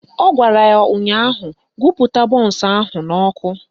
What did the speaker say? Ọ gwara ya ụnyaahụ "Gụpụta bọnsụ ahụ n'ọkụ"